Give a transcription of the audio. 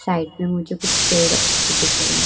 Side में मुझे कुछ पेड़ दिख रहे हैं।